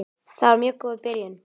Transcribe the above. Það var mjög góð byrjun.